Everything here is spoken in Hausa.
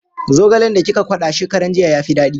Zogalen da kika kwada shekaran jiya ya fi daɗi.